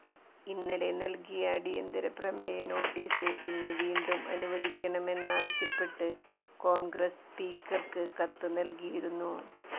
ഇന്നലെ നല്കിയ അടിയന്തരപ്രമേയ നോട്ടീസ് ഇന്ന് വീണ്ടും അനുവദിക്കണമെന്നാവശ്യപ്പെട്ട് കോണ്ഗ്രസ് സ്പീക്കര്ക്ക് കത്ത് നല്കിയിരുന്നു